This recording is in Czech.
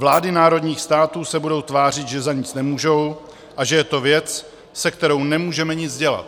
Vlády národních států se budou tvářit, že za nic nemůžou a že je to věc, se kterou nemůžeme nic dělat.